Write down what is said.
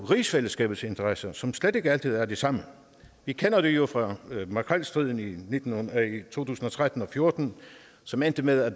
rigsfællesskabets interesser som slet ikke altid er de samme vi kender det jo fra makrelstriden i to tusind og tretten og fjorten som endte med at